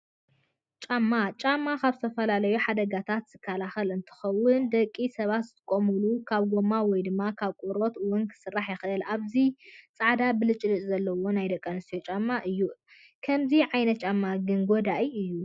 ጫማ፦ ጫማ ካብ ዝተፈላለዩ ሓደጋታት ዝከላከል እንትከውን ደቂ ሰባት ዝጥቀሙሉ ካብ ጎማ ወይ ድማ ካብ ቆርበት እውን ክስራሕ ይክእል። ኣብዚ ፃዕዳ ብልጭልጭ ዘለዎ ናይ ደቂ ኣንሰትዮ ጫማ እዩ። ከምዚ ዓይነት ጫማ ግን ጎዳኢ እዩ።